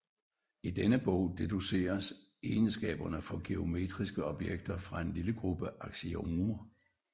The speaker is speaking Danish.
I denne bog deduceres egenskaberne for geometriske objekter fra en lille gruppe aksiomer